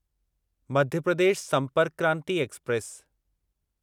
Madhya Pradesh Sampark Kranti express